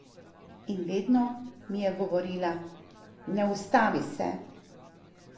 In vedno mi je govorila: "Ne ustavi se.